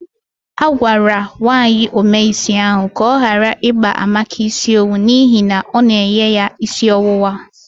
A gwara nwaanyi ome isi ahu ka ọ gara ikpa Amaka isi owu n'ihi ọ na-enye ya isi ọwụwa.